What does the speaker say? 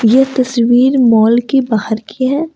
यह तस्वीर मॉल के बाहर की है।